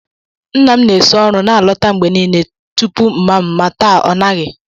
Nna'm na-esi ọrụ na-alọta mgbe niile tupu mama m, ma taa, ọ naghị.